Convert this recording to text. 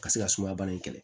Ka se ka sumaya bana in kɛlɛ